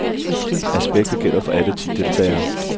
Aspektet gælder for alle ti deltagere.